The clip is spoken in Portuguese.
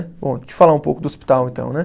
Bom, deixa eu falar um pouco do hospital, então, né?